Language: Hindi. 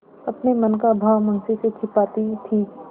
अपने मन का भाव मुंशी से छिपाती थी